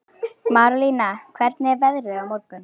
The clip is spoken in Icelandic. Marólína, hvernig er veðrið á morgun?